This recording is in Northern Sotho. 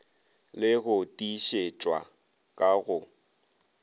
le go tiišetšwa ka go